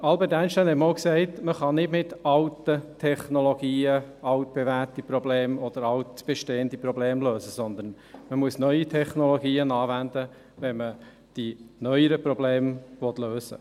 Albert Einstein sagte einmal, dass man nicht mit alten Technologien altbewährte Probleme oder altbestehende Probleme lösen könne, sondern man müsse neue Technologien anwenden, wenn man die neueren Probleme lösen wolle.